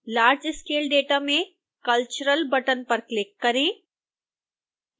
large scale data में cultural button पर click करें